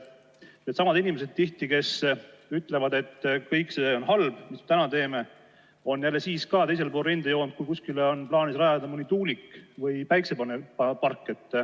Tihti on needsamad inimesed, kes ütlevad, et kõik see, mis me täna teeme, on halb, siis ka teisel pool rindejoont, kui kuskile on plaanis rajada mõni tuulik või päiksepark.